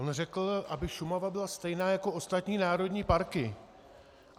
On řekl, aby Šumava byla stejná jako ostatní národní parky.